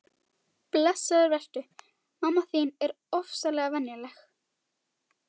Blessaður vertu, mamma þín er ofsalega venjuleg.